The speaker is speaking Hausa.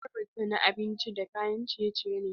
Jarabar ta na abinci da kayan ciye-ciye ne.